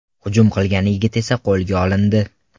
Hujum qilgan yigit esa qo‘lga olindi.